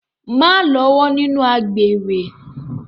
Má lọ́wọ́ nínú àgbèrè.